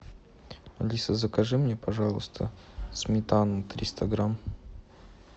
алиса закажи мне пожалуйста сметану триста грамм